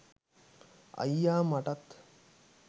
අයියා මටත්